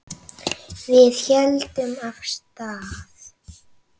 Við héldum af stað.